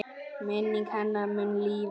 Minning hennar mun lifa.